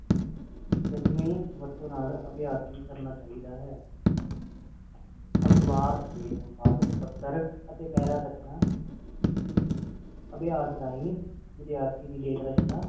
ਟੁਕਵੀ ਵਰਤੋਂ ਨਾਲ ਅਭਿਯਾਸ ਵੀ ਕਰਨਾ ਚਾਹੀਦਾ ਹੈ ਅਖਬਾਰ ਦੇ ਸੰਪਾਦਕ ਪੱਥਰ ਤੇ ਪੈਰਾਂ ਰਚਨਾ ਅਭਿਆਸ ਰਾਹੀਂ ਵਿਦਿਆਰਥੀਆਂ ਦੀ ਲੇਖ ਰਚਨਾ